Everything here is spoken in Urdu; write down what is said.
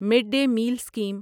mid day meal scheme